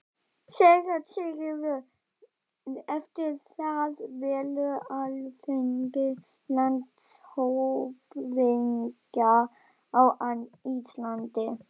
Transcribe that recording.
SÉRA SIGURÐUR: Eftir það velur Alþingi landshöfðingja á Íslandi.